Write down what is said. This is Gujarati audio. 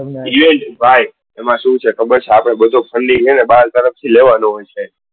ભાઈ એમાં શું છે ખબર છે આપડે બધો funding બાર તરફ થી લેવાનો હોય છે.